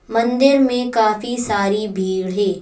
मंदिर में काफी सारी भीड़ है।